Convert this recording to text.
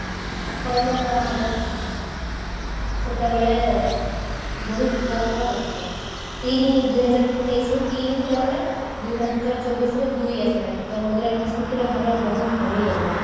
ଆକଳନ କରାହବ ସେତେବେଳେ ବହୁତ କମ ଆସିବ ତିନି ଦୁଇ ହଜାର ତେଇଶି ରେ ତିନି ଥିଲାବେଳେ ଦୁଇ ହଜାର ଚବିଶରେ ଦୁଇ ଆସିଲାଣି ତ ମୁଦ୍ରାସ୍ପୀତିର ହାର ବହୁତ କମି ଗଲାଣି